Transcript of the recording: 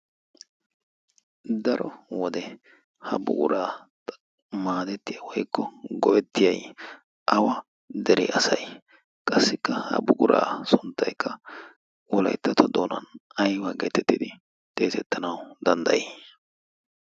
daro wode ha buguraa maadettiya woikko go'ettiyai awa dere asai? qassikka ha buguraa sunttaikka wolaittato doonan aibaa geetettidi xeesettanawu danddayii?